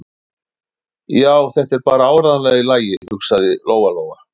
Já, þetta er bara áreiðanlega í lagi, hugsaði Lóa-Lóa.